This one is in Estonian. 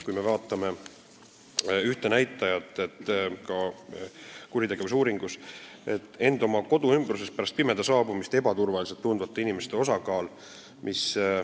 Vaatame ühte näitajat kuritegevuse uuringus: kui suur on end oma kodu ümbruses pärast pimeduse saabumist ebaturvaliselt tundvate inimeste osakaal.